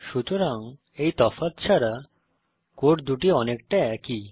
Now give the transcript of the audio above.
সুতরাং এই তফাৎ ছাড়া কোড দুটি অনেকটা একই